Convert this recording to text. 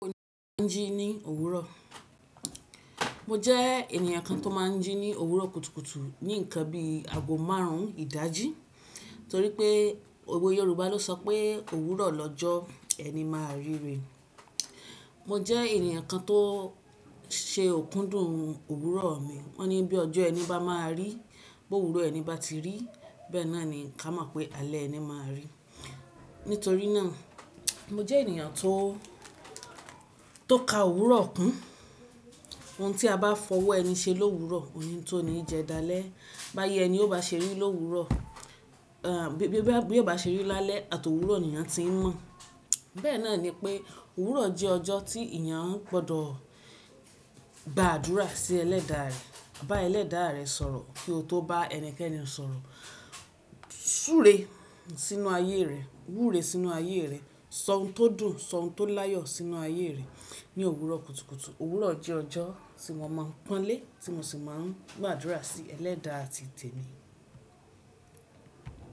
Bí mo tín ji ní òwúrọ̀. Mo jẹ́ ènìyàn kan tó máa ń jí ní òwúrọ̀ kùtùkùtù ní ǹkan bíi àgo márùn ìdajì torí pé, owe Yorùbá ló sọ pé òwúrọ̀ lọ́jọ́ ẹni máa rí rè. Mo jẹ́ ènìyàn kan tó ṣe òkúndùn òwúrọ̀ mi. Wọ́n ní bí ọjọ́ ẹni bá máa rí, bó òwúrọ̀ ẹni bá ti rí, bẹ́ẹ̀ náà ni ká mọ̀ pé alẹ́ ẹni máa rí. Nítorí náà, mo jẹ́ ènìyàn tó, tó ka òwúrọ̀ kún. Ohun tí a bá fọwọ́ ẹni ṣe l'òwúrọ̀, òní tó ní jẹ dalẹ́. Báyẹ́ ẹni ó bá ṣeri l'òwúrọ̀, bí ó bá ṣeri lálẹ́ àti ọ̀wúrọ̀ ni ènìyàn ti ń mọ̀. Bẹ́ẹ̀ náà ni pé, òwúrọ̀ jẹ́ ọjọ́ tí ènìyàn gbọdọ̀ bá àdúrà sí ẹlẹ́da rẹ̀, bá ẹlẹ́da rẹ̀ sọ̀rọ̀ kí ó tó bá ẹnikẹ́ni sọ̀rọ̀. Súre sínú ayé rẹ̀, wúre sínú ayé rẹ̀, sọ ohun tó dùn, sọ ohun tó láyọ̀ sínú ayé rẹ̀ ní òwúrọ̀ kùtùkùtù. Òwúrọ̀ jẹ́ ọjọ́ tí mo máa ń pọ́n lé, tí mo sì máa ń gbàdúrà sí ẹlẹ́da ti tèmi.